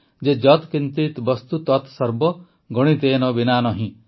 ଯତ୍ କିଂଚିତ୍ ବସ୍ତୁ ତତ ସର୍ବ ଗଣିତେନ ବିନା ନହିଁ